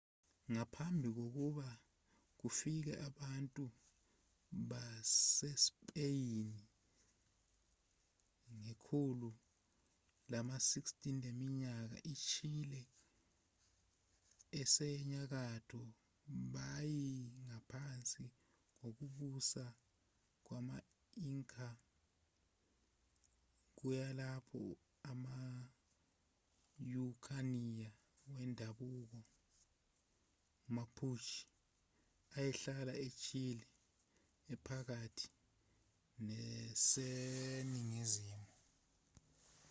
ngaphambi kokuba kufike abantu basespeyini ngekhulu lama-16 leminyaka ichile esenyakatho beyingaphansi kokubusa kwama-inca kuyilapho ama-araucania wendabuko mapuche ayehlala echile ephakathi neseningizimu